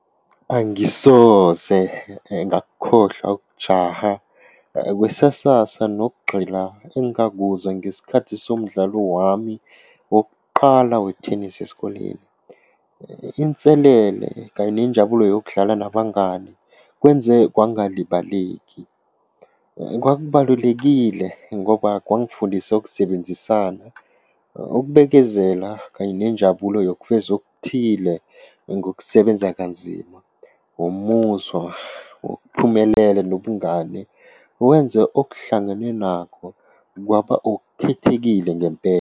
Angisoze ngakukhohlwa ukujaha kwesesasa nokugxila engingakuzwa ngesikhathi somdlalo wami wokuqala wethenisi esikoleni. Inselele kanye nenjabulo yokudlala nabangani kwenze kwangalibaleki Kwakubalulekile ngoba kwangifundisa ukusebenzisana, ukubekezela kanye nenjabulo yokufeza okuthile ngokusebenza kanzima, wumuzwa wakuphumelela nobungane, wenze okuhlangene nakho kwaba okukhethekile ngempela.